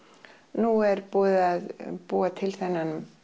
nú er búið að búa til þennan